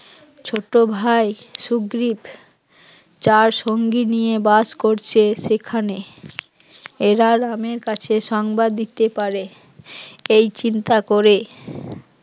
ছোট ভাই শুগ্রিব চার সঙ্গী নিয়ে বাস করছে সেখানে এরা রামের কাছে সংবাদ দিতে পারে এই চিন্তা করে